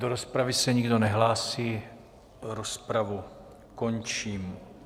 Do rozpravy se nikdo nehlásí, rozpravu končím.